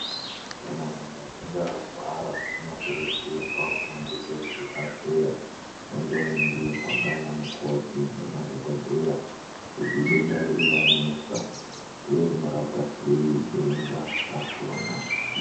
Kana muntu achinge arwara anogone kuende kuzvibhedhleya vondoningirwa ndanamukoti ngemadhokodheya kuti idenda riri ranesa uye rinorapwa sei denda rakona